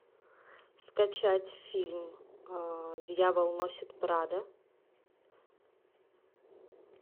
скачать фильм дьявол носит прадо